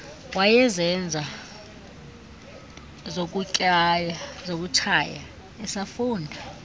wayezenza zokutshaya esafunda